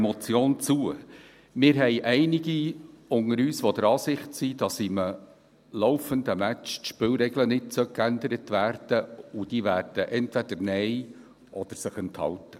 Wir haben einige unter uns, die der Ansicht sind, dass in einem Match die Spielregeln nicht geändert werden sollen, und die werden entweder Nein stimmen oder sich enthalten.